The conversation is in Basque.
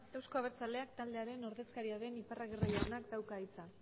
euzko abertzaleak taldearen ordezkaria den iparragirre jaunak dauka hitza